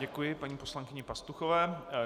Děkuji paní poslankyni Pastuchové.